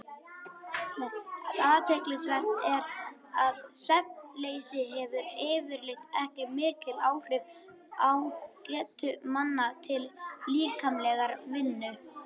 Athyglisvert er að svefnleysi hefur yfirleitt ekki mikil áhrif á getu manna til líkamlegrar vinnu.